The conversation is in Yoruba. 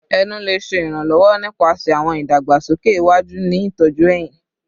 Ẹnu le ṣe iranlọwọ nipasẹ awọn idagbasoke iwaju ni itọju ehín